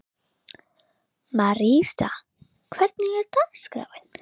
Marísa, hvernig er dagskráin?